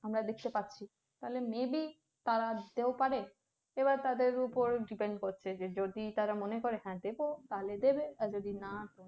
আমরা দেখতে পাচ্ছি তাহলে may be তারা দিতেও পারে এবার তাদের ওপর depend করছে যে যদি তারা মনে করে দেবো তাহলে দেবে আর যদি না তো